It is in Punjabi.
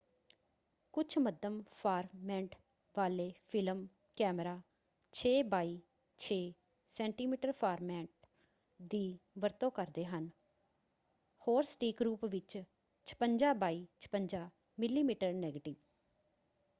ਕੁੱਝ ਮੱਧਮ-ਫਾਰਮੈੱਟ ਵਾਲੇ ਫ਼ਿਲਮ ਕੈਮਰਾ 6 ਬਾਇ 6 ਸੈ.ਮੀ ਫਾਰਮੈੱਟ ਦੀ ਵਰਤੋਂ ਕਰਦੇ ਹਨ ਹੋਰ ਸਟੀਕ ਰੂਪ ਵਿੱਚ 56 ਬਾਇ 56 ਮਿਮੀ ਨੈਗੇਟਿਵ।